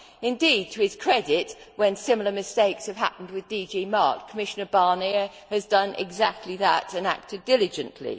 Indeed, to his credit, when similar mistakes have happened with DG MARE, Commissioner Barnier has done exactly that and acted diligently.